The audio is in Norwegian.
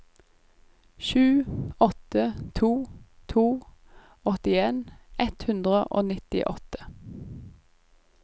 sju åtte to to åttien ett hundre og nittiåtte